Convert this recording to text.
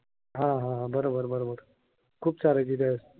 हा. हा. हा. बरोबर. बरोबर. खूप चालायची त्यावेळेस.